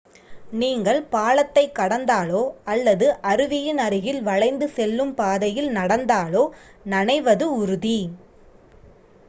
நீங்கள் பாலத்தைக் கடந்தாலோ அல்லது அருவியின் அருகில் வளைந்து செல்லும் பாதையில் நடந்தாலோ நனைவது உறுதி